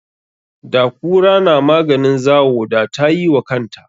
Da kura na maganin zawo, da tayi wa kanta.